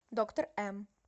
доктор м